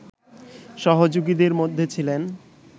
সহযোগীদের মধ্যে ছিলেন